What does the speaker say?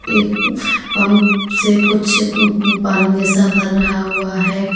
एक पम्प से कुछ पानी जैसा भर रहा हुआ है।